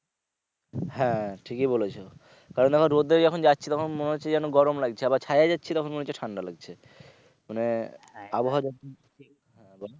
হ্যা ঠিকই বলেছো কারণ আমরা রোদে যখন যাচ্ছি তখন মনে হচ্ছে যেন গরম লাগছে আবার ছায়ায় যাচ্ছি তখন মনে হচ্ছে ঠান্ডা লাগছে মানে আবহাওয়া যত হ্যা বল।